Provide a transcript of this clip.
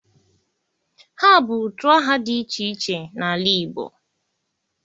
ha bu utu aha di iche iche n'ala Igbo